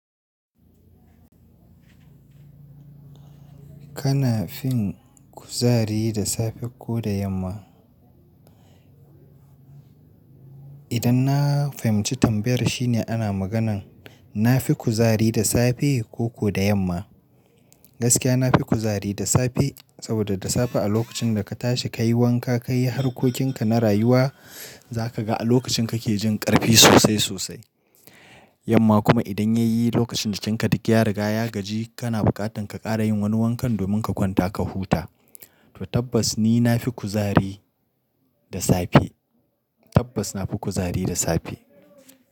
Kana fin kuzari da safe ko da yamma? Idan na fahimci tambayar shine ana maganan na fi kuzari da safe ko ko da yamma. Gaskiya na fi kuzari da safe saboda da safe a lokacin da ka tashi ka yi wanka, ka yi harkokinka na rayuwa za ka ga a lokacin kake jin ƙarfi sosai sosai. Yamma kuma idan ya yi lokacin da jikiinka duk a riga ya gaji kana buƙatan ka ƙara yin wani wankan domin ka kwanta ka huta. To tabbas ni na fi kuzari da safe. Tabbas na fi kuzari da safe.